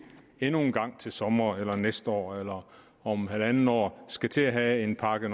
endnu en gang til sommer eller næste år eller om halvandet år skal til at have en pakke